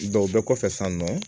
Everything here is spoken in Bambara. o bɛɛ kɔfɛ san nɔ